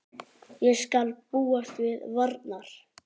Ég skal búast til varnar.